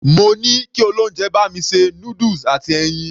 Mo ní kí olóúnjẹ bá mi ṣe noodles àti ẹyin.